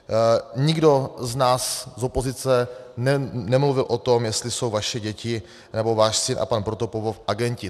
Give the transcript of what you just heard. Nikdo z nás z opozice nemluvil o tom, jestli jsou vaše děti, nebo váš syn a pan Protopopov agenti.